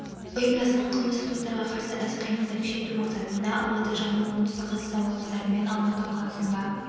ұйымдасқан қылмыстық топтарға қарсы іс-қимылды күшейту мақсатында алматы жамбыл оңтүстік қазақстан облыстары мен алматы қаласында